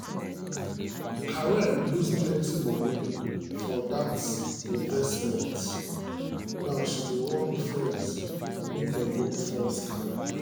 karen lose plenty moni for bad investment now she dey warn friends make dem no fall scam.